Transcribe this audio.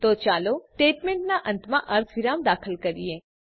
તો ચાલો સ્ટેટમેંટનાં અંતમાં અર્ધવિરામ દાખલ કરીએ